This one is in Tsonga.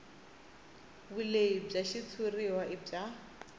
vulehi bya xitshuriwa i bya